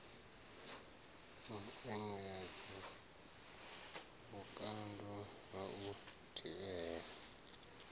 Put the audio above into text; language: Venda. muengedzo vhukando ha u thivhela